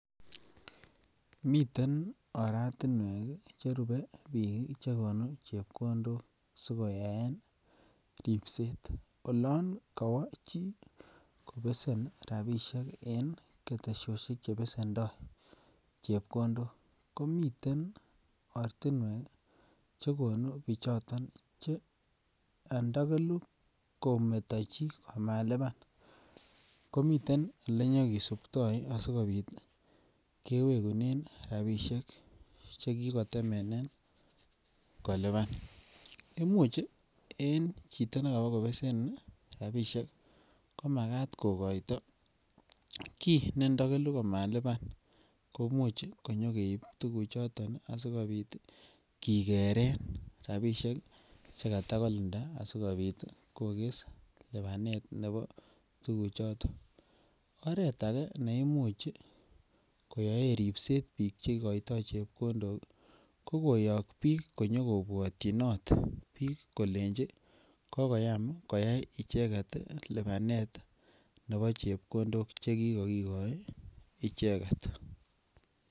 Miten oratinwek cherupe biik chekonu chepkondok si koyaen ripset. Olan kawa chi kobesen rapisiek en ketesiosiek che pesendo chepkondok komiten ortinwek che konu bichoton che andakelu kometo chi amaluban. Komiten ole nyakisuptoi asikopit kewekunen rapisiek che kikotemenen koluban. Imuch en chito ne kabokobesen rapisiek ko magat kogoito kiy ne ndakelu komaliban. Komuch konyakeip tuguchoton asigopit kigeren rapisiek che katakolinda asigopit koges lubanet nebo tuguchoton. Oret age ne imuch koyaen ripset biik che igoitoi chepkondok ko koyok biik konyokobwatyinot biik kolenji kokoyam koyai icheget lubanet nebo chepkondok che kikakigoi icheget.